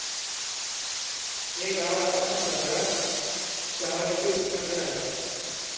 हे गाव आता मद्रास शहराचे उपनगर आहे.